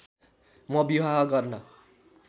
म विवाह गर्न